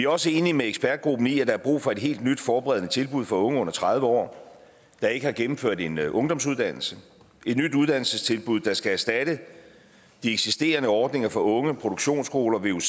også enige med ekspertgruppen i at der er brug for et helt nyt forberedende tilbud for unge under tredive år der ikke har gennemført en ungdomsuddannelse et nyt uddannelsestilbud der skal erstatte de eksisterende ordninger for unge produktionsskoler vuc